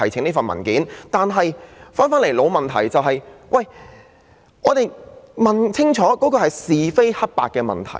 不過，回到一個老問題，就是要弄清是非黑白的問題。